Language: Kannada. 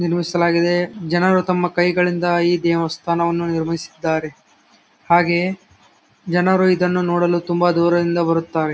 ನಿರ್ಮಿಸಲಾಗಿದೆ ಜನರು ತಮ್ಮ ಕೈಗಳಿಂದ ಈ ದೆವಸ್ಥಾನವನ್ನು ನಿರ್ಮಿಸಿದ್ದಾರೆ ಹಾಗೆಯೆ ಜನರು ಇದನ್ನು ನೋಡಲು ತುಂಬಾ ದೂರದಿಂದ ಬರುತ್ತಾರೆ .